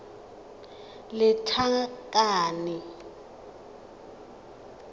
lethakane